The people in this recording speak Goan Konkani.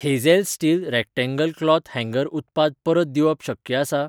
Hazel steel rectangle cloth hanger उत्पाद परत दिवप शक्य आसा?